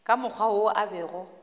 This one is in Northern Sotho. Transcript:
ka mokgwa wo a bego